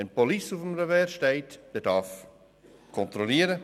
Wenn «Police» auf dem Revers steht, darf kontrolliert werden;